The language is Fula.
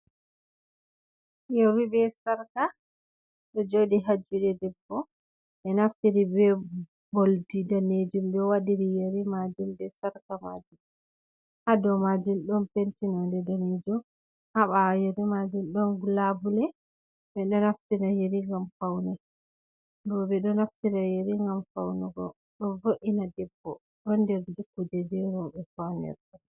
Yeerii be sarka, ɗoo jooɗii haajuude debbo ɓee naftiri bee'oldi daneejuum ɓe wadirii yeeri maajuum, ɓe sarka maajuum, haadou maajuum ɗon pentinonde daneejuum, haɓawoo yeerii maajuum ɗon glabule ɓe ɗoo naftira yeerii ngam faunugo, boo ɓe ɗoo naftira yeerii ngam faunugo. Ɗoo vo'ina debbo ɗon nder kujeeji rawɓe faunira.